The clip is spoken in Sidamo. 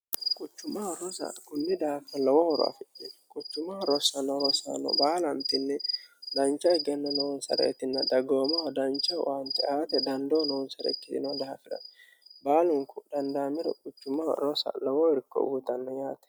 quchumaa rosa kummi daafa lowohoro afi quchumaha rossano rosaano baalantinni dancha higenne noonsare etinna dagoomoho dancha waanti aate dandoo noonsare ikkiino daha fi'ranni baalunku dhandaamiro quchumma rosa lowo horo uyiitanno yaate